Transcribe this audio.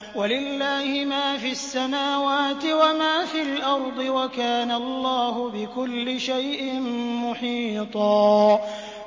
وَلِلَّهِ مَا فِي السَّمَاوَاتِ وَمَا فِي الْأَرْضِ ۚ وَكَانَ اللَّهُ بِكُلِّ شَيْءٍ مُّحِيطًا